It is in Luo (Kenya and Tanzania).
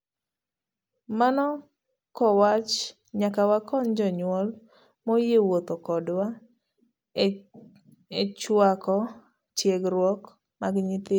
Mano kowach, nyaka wakony jonyuol moyie wuotho kodwa echuako tiegruok mag nyithindo.